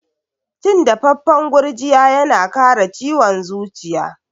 Cin dafaffan gurjiya yana kare ciwon zuciya.